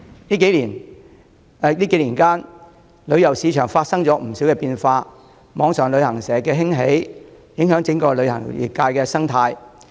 旅遊市場在數年間發生了不少變化，網上旅行社的興起，影響了整個旅遊業的生態。